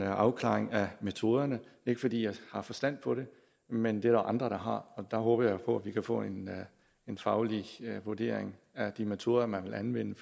afklaring af metoderne ikke fordi jeg har forstand på det men det er der andre der har og der håber jeg på vi kan få en en faglig vurdering af de metoder man vil anvende